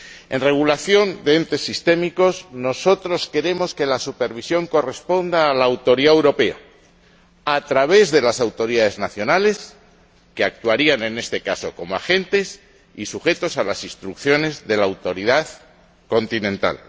En regulación de entes sistémicos, nosotros queremos que la supervisión corresponda a la Autoridad Europea, a través de las autoridades nacionales, que actuarían, en este caso, como agentes y estarían sujetas a las instrucciones de la autoridad continental.